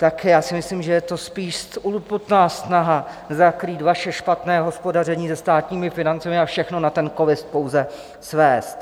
Tak já si myslím, že je to spíš urputná snaha zakrýt vaše špatné hospodaření se státními financemi a všechno na ten covid pouze svést.